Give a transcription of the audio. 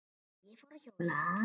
Og ég fór að hjóla.